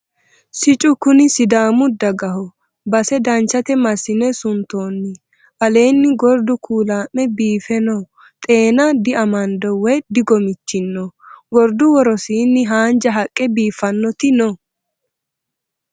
Siccu kuni sidaamu dagaho base danchate massine suntonni aleeni gordu ku'lame biife no xeena diamando woyi digomichino gordu, worosini haanja haqqe biifanoti no.